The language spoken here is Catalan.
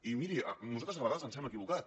i miri nosaltres a vegades ens hem equivocat